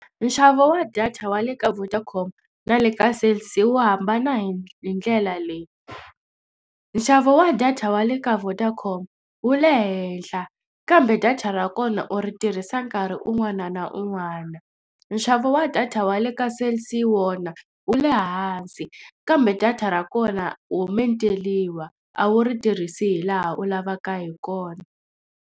Nxavo wa data wa le ka Vodacom na le ka Cell C wu hambana hi hi ndlela leyi nxavo wa data wa le ka Vodacom wu le henhla kambe data ra kona u ri tirhisa a nkarhi un'wana na un'wana nxavo wa data wa le ka Cell C wona wu le hansi kambe data ra kona ho menteliwa a wu ri tirhisi hi laha u lavaka hi kona.